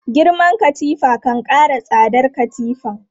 Girman katifa kan kara tsadar katifan.